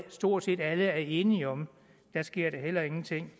stort set alle er enige om sker der heller ingenting